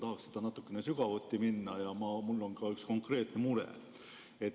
Tahaks natukene sügavuti minna ja mul on ka üks konkreetne mure.